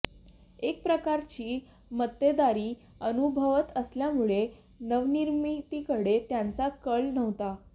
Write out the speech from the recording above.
एक प्रकारची मक्तेदारी अनुभवत असल्यामुळं नवनिर्मितीकडे त्यांचा कल नव्हता